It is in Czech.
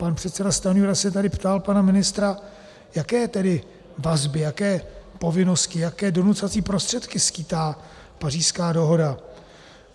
Pan předseda Stanjura se tady ptal pana ministra, jaké tedy vazby, jaké povinnosti, jaké donucovací prostředky skýtá Pařížská dohoda.